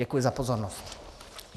Děkuji za pozornost.